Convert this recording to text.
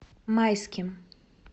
майским